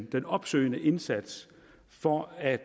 den opsøgende indsats for at